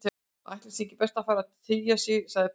Ætli sé ekki best að fara að tygja sig- sagði prest